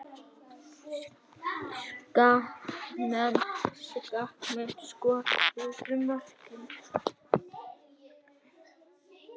Skagamenn Skagamenn skoruðu mörkin.